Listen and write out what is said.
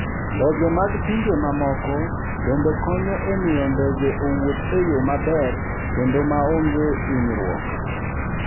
Ndege mag pinje mamoko bende konyo e miyo ndege owuoth e yo maber kendo maonge hinyruok.